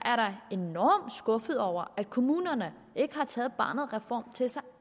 enormt skuffet over at kommunerne ikke har taget barnets reform til sig